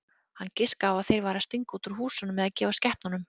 Hann giskaði á að þeir væru að stinga út úr húsunum eða gefa skepnunum.